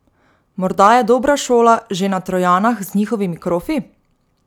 Morda je dobra šola že na Trojanah z njihovimi krofi?